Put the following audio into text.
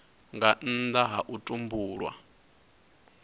nga nnda ha u tumbulwa